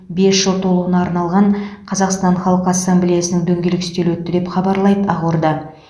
бес жыл толуына арналған қазақстан халқы ассамблеясының дөңгелек үстелі өтті деп хабарлайды ақорда